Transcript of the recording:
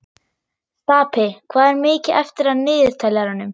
Stapi, hvað er mikið eftir af niðurteljaranum?